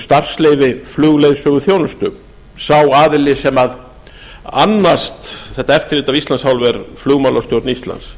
starfsleyfi flugleiðsöguþjónustu sá aðili sem annast þetta eftirlit af íslands hálfu er flugmálastjórn íslands